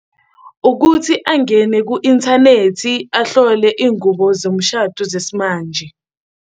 Ukuthi angene ku-inthanethi ahlole iy'ngubo zomshado zesimanje.